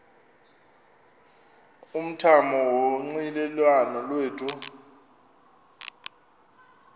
umthamo wonxielelwano lwethu